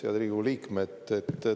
Head Riigikogu liikmed!